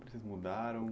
Vocês mudaram?